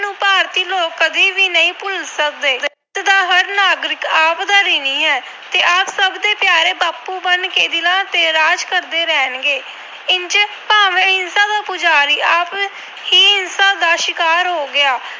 ਭੁਲ ਸਕਦੇ। ਦਾ ਹਰ ਨਾਗਰਿਕ ਆਪ ਦਾ ਰਿਣੀ ਹੈ ਤੇ ਬਾਪੂ ਬਣ ਕੇ ਸਦਾ ਦਿਲਾਂ ਤੇ ਰਾਜ ਕਰਦੇ ਰਹਿਣਗੇ। ਇੰਝ ਭਾਵੇਂ ਅਹਿੰਸਾ ਦਾ ਪੁਜਾਰੀ ਆਪ ਹੀ ਹਿੰਸਾ ਦੇ ਸ਼ਿਕਾਰ ਹੋ ਗਿਆ।